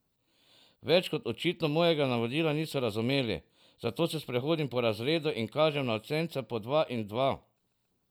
Več kot očitno mojega navodila niso razumeli, zato se sprehodim po razredu in kažem na učence po dva in dva.